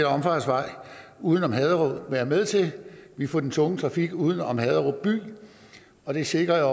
omfartsvej uden om haderup være med til vi får den tunge trafik uden om haderup by og det sikrer